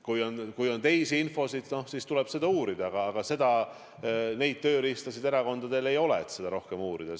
Kui on muud infot, siis tuleb seda uurida, aga neid tööriistasid erakondadel ei ole, et seda rohkem uurida.